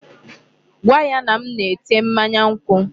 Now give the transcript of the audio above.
Gwa ya na m na-ete mmanya nkwụ.